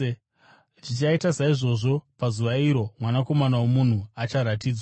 “Zvichaita saizvozvo pazuva iro Mwanakomana woMunhu acharatidzwa.